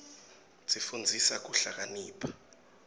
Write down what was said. tsifundisa kuhlakanipha